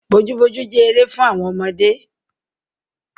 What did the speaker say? Bojúbojú jẹ́ eré fún àwọn ọmọdé.